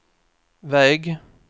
väg